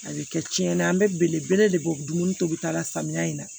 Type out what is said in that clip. A bɛ kɛ tiɲɛni an bɛ belebele de bɔ dumuni tobita la samiya in na